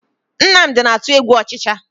Nnamdi na-atụ egwu ọchịcha